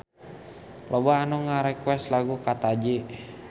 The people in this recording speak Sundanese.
Loba anu ngarequest lagu Kataji